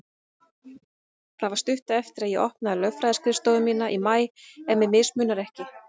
Það var stuttu eftir að ég opnaði lögfræðiskrifstofu mína í maí, ef mig misminnir ekki.